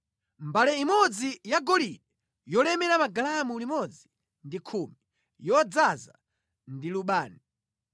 mbale imodzi yagolide yolemera magalamu 110, yodzaza ndi lubani;